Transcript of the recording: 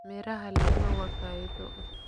Miraha lime waa faa'iido.